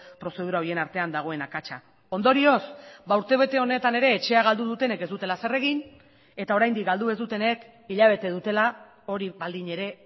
prozedura horien artean dagoen akatsa ondorioz urtebete honetan ere etxea galdu dutenek ez dutela zer egin eta oraindik galdu ez dutenek hilabete dutela hori baldin ere